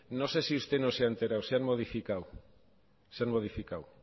no sé si usted no se ha enterado se han modificado se han modificado